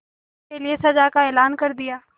उसके लिए सजा का ऐलान कर दिया